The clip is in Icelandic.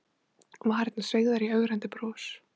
Varirnar sveigðar í ögrandi bros.